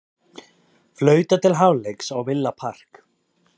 Flautað til hálfleiks á Villa Park